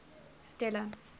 stella